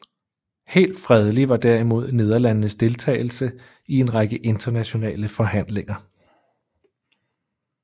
Helt fredelig var derimod Nederlandenes deltagelse i en række internationale forhandlinger